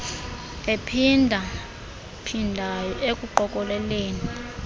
ephinda phindayo ekuqokeleleni